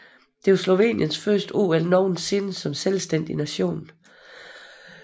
Det var Sloveniens første OL nogensinde som selvstændig nation